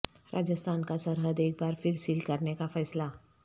راجستھان کا سرحد ایک بار پھر سیل کرنے کا فیصلہ